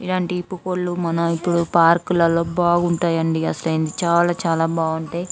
ఇలాంటి పుకోల్లు మనమ్ ఇప్పుడు పార్కులలో బాగుంటాయండి అసలు చాలా చాలా బావుంటాయి.